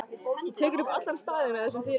Þú vekur upp allan staðinn með þessum fyrirgangi.